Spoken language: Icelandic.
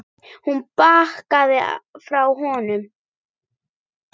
Hún bakkaði frá honum.